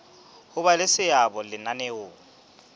ho ba le seabo lenaneong